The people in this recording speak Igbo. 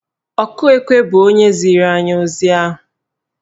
Ọkụ ekwe bụ onye ziri anyị ozi ahụ